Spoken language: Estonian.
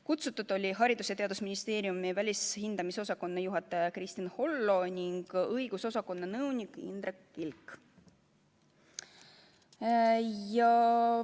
Kutsutud olid Haridus- ja Teadusministeeriumi välishindamisosakonna juhataja Kristin Hollo ning õigusosakonna nõunik Indrek Kilk.